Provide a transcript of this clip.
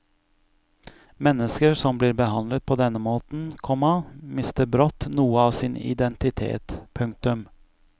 Mennesker som blir behandlet på denne måten, komma mister brått noe av sin identitet. punktum